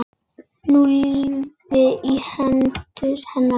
Ný lífi í hendur hennar.